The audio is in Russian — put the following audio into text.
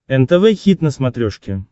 нтв хит на смотрешке